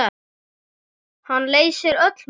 Hann leysir öll mál.